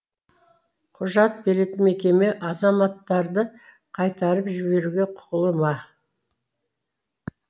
құжат беретін мекеме азаматтарды қайтарып жіберуге құқылы ма